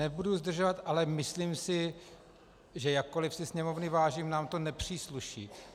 Nebudu zdržovat, ale myslím si, že jakkoli si Sněmovny vážím, nám to nepřísluší.